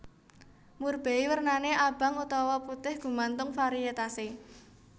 Murbei wernané abang utawa putih gumantung variétase